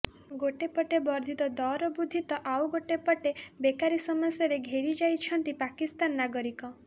ଗୋଟିଏ ପଟେ ବର୍ଦ୍ଧିତ ଦରବୃଦ୍ଧି ତ ଆଉ ଗୋଟିଏପଟେ ବେକାରୀ ସମସ୍ୟାରେ ଘେରିଯାଇଛନ୍ତି ପାକିସ୍ତାନ ନାଗରିକ